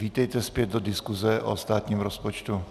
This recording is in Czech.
Vítejte zpět do diskuse o státním rozpočtu.